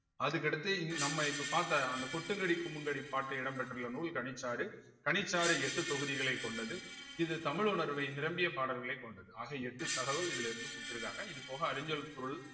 அதுக்கடுத்து இந் நம்ம இப்ப பார்த்த அந்த கொட்டுங்கடி குமுங்கடி பாட்டு இடம் பெற்றுள்ள நூல் கனிச்சாறு கனிச்சாறு எட்டு தொகுதிகளைக் கொண்டது இது தமிழ் உணர்வை நிரம்பிய பாடல்களைக் கொண்டது ஆக எட்டு தகவல் இதுல இருந்து குடுத்திருக்காங்க இது போக அறிஞ்சொல் பொருள்